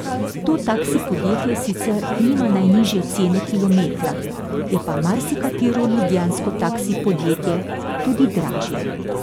To taksi podjetje sicer nima najnižje cene kilometra, je pa marsikatero ljubljansko taksi podjetje tudi dražje.